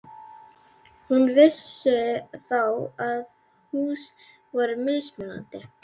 Hún vissi þá þegar að hús voru mismunandi.